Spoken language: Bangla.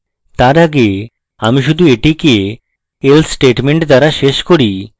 তার আগে আমি শুধু এটিকে else statement দ্বারা শেষ করি